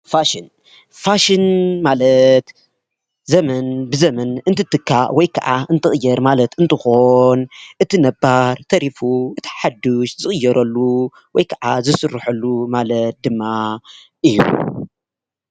ፋሽን :-ፋሽን ማለት ዘመን ብዘመን እትትካእ ወይ ከኣ እንትቅየር ማለት እንትኾን ፣ እቲ ነባር ተሪፉ እቲ ሓዱሽ ዝቕየረሉ ወይ ከዓ ዝሰረሐሉ ማለት ድማ እዩ።